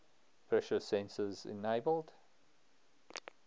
pressure sensors enabled